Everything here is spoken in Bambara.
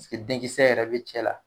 denkisɛ yɛrɛ bɛ cɛ la.